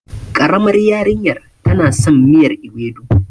ƙaramar yarinyar tana son miyar ewedu.